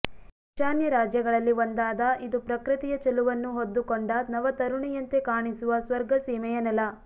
ಈಶಾನ್ಯ ರಾಜ್ಯಗಳಲ್ಲಿ ಒಂದಾದ ಇದು ಪ್ರಕೃತಿಯ ಚೆಲುವನ್ನು ಹೊದ್ದುಕೊಂಡ ನವ ತರುಣಿಯಂತೆ ಕಾಣಿಸುವ ಸ್ವರ್ಗ ಸೀಮೆಯ ನೆಲ